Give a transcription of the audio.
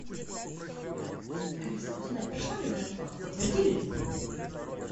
алиса узнай прошла ли моя оплата подтвердили ли